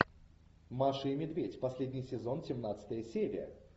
маша и медведь последний сезон семнадцатая серия